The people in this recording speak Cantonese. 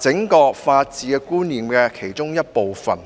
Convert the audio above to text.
整個法治觀念的其中一部分。